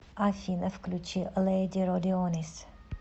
афина включи лэди родионис